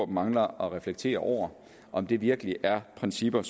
mangler at reflektere over om det virkelig er principper